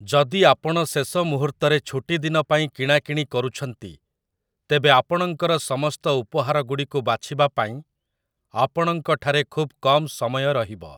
ଯଦି ଆପଣ ଶେଷ ମୁହୂର୍ତ୍ତରେ ଛୁଟିଦିନ ପାଇଁ କିଣାକିଣି କରୁଛନ୍ତି, ତେବେ ଆପଣଙ୍କର ସମସ୍ତ ଉପହାରଗୁଡ଼ିକୁ ବାଛିବା ପାଇଁ ଆପଣଙ୍କଠାରେ ଖୁବ କମ୍ ସମୟ ରହିବ ।